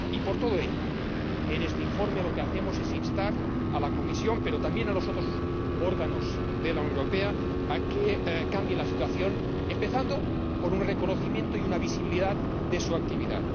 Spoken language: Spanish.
Por todo ello, en este informe lo que hacemos es instar a la Comisión, pero también a los otros órganos de la Unión Europea, a que cambien la situación, empezando por un reconocimiento y una visibilidad de su actividad.